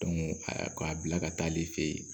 k'a bila ka taa ale fɛ yen